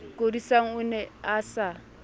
kodisang o ne a sa